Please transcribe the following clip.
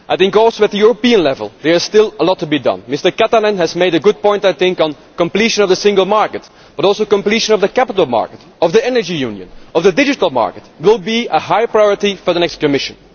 Also at European level there is still a lot to be done. Mr Katainen has made a good point on completion of the single market, but also completion of the capital market, of the Energy Union and of the digital market will be a high priority for the next Commission.